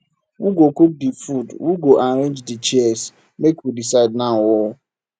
who go cook di food who go arrange di chairs make we decide now o